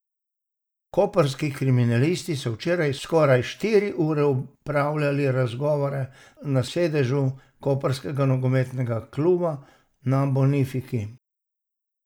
Koprski kriminalisti so včeraj skoraj štiri ure opravljali razgovore na sedežu koprskega nogometnega kluba na Bonifiki.